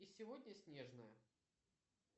и сегодня снежная